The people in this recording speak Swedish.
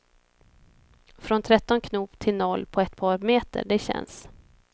Från tretton knop till noll på ett par meter, det känns.